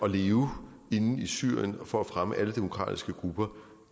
at leve inde i syrien og for at fremme alle demokratiske grupper